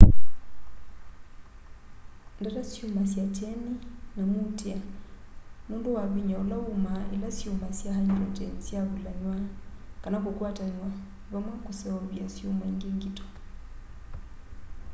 ndata syumasya kyeni na muutîa nûndû wa vinya ula umaa ila syuma sya hyndrogyeni syavulanw'a kana kukwatanw'a vamwe kuseuvya syuma îngi ngito